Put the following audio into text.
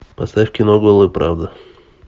поставь кино голая правда